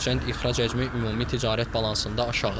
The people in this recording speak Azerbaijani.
Hərçənd ixrac həcmi ümumi ticarət balansında aşağıdır.